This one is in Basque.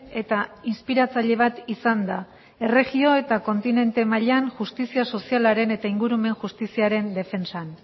eta inspiratzaile bat izan da erregio eta kontinente mailan justizia sozialaren eta ingurumen justiziaren defentsan